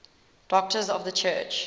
doctors of the church